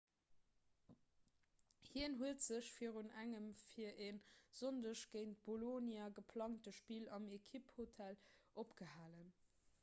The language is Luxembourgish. hien huet sech virun engem fir e sonndeg géint bolonia geplangte spill am ekipphotel opgehalen